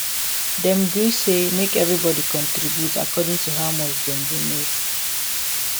dem gree say make everybody contribute according to how much dem dey make